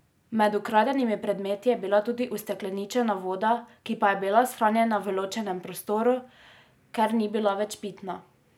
Med ukradenimi predmeti je bila tudi ustekleničena voda, ki pa je bila shranjena v ločenem prostoru, ker ni bila več pitna.